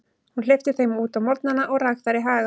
Hún hleypti þeim út á morgnana og rak þær í haga.